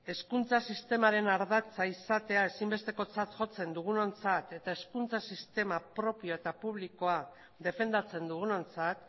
hezkuntza sistemaren ardatza izatea ezinbestekotzat jotzen dugunontzat eta hezkuntza sistema propio eta publikoa defendatzen dugunontzat